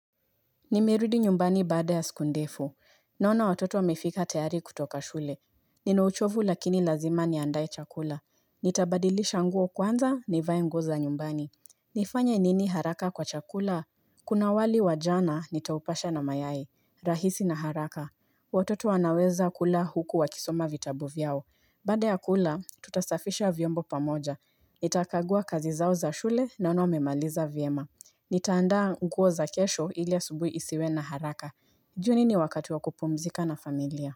Nimerudi nyumbani baada ya siku ndefu. Naona watoto wamefika tayari kutoka shule. Nina uchovu lakini lazima niandaye chakula. Nitabadilisha nguo kwanza ni vae nguo za nyumbani. Nifanya nini haraka kwa chakula? Kuna wali wa jana nitaupasha na mayai. Rahisi na haraka. Watoto wanaweza kula huku wakisoma vitabu vyao. Baada ya kula, tutasafisha vyombo pamoja. Nitakagua kazi zao za shule naona wamemaliza vyema. Nitaandaa nguo za kesho ili asubui isiwe na haraka. Jioni ni wakati wa kupumzika na familia.